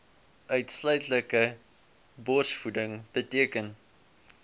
uitsluitlike borsvoeding beteken